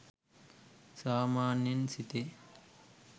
සාමාන්‍යයෙන් සිතේ.